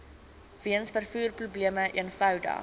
weens vervoerprobleme eenvoudig